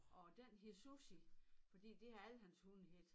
Og den hed Sussi fordi det har alle hans hunde heddet